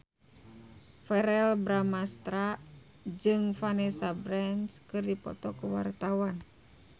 Verrell Bramastra jeung Vanessa Branch keur dipoto ku wartawan